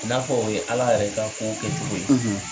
N'a fɔ o ye ala yɛrɛ'ka ko kɛ cogo ye.